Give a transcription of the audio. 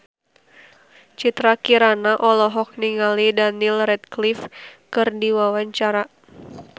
Citra Kirana olohok ningali Daniel Radcliffe keur diwawancara